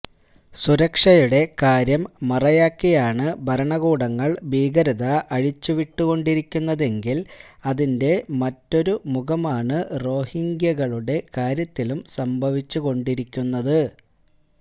സുരക്ഷയുടെ കാര്യം മറയാക്കിയാണ് ഭരണകൂടങ്ങള് ഭീകരത അഴിച്ചുവിട്ടുകൊണ്ടിരിക്കുന്നതെങ്കില് അതിന്റെ മറ്റൊരു മുഖമാണ് റോഹിങ്ക്യകളുടെ കാര്യത്തിലും സംഭവിച്ചുകൊണ്ടിരിക്കുന്നത്